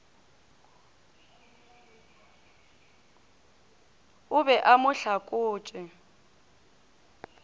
o be a mo hlakotše